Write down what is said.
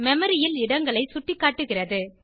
memory ல் இடங்களை சுட்டிக்காட்டுகிறது